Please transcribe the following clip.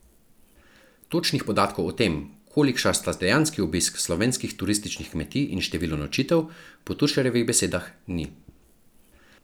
Točnih podatkov o tem, kolikšna sta dejanski obisk slovenskih turističnih kmetij in število nočitev, po Tušarjevih besedah ni.